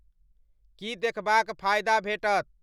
की देखबाक़ फायदा भेटत